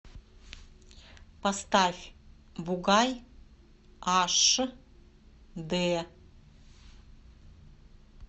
поставь бугай аш д